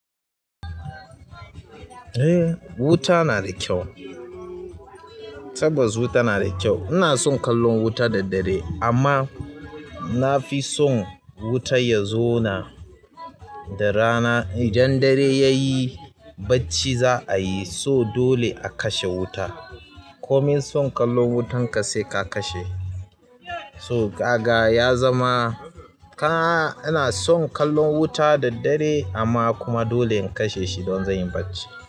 Eh, wuta na da kyau. Tabbas wuta nada kyau. Ina son kallon wuta da dare amma nafi son wuta ya zona da rana. Idan dare yayi bacci za'ayi so dole a kashe wuta. Komin son kallon wutanka sai ka kashe. So gaga ya zama ka. Ina son kallon wuta da dare amma kuma dole in kashe shi don zanyi bacci.